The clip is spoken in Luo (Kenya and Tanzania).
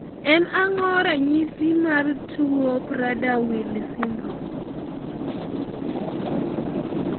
en ang'o ranyisis tuo mar Prader Willi Syndrome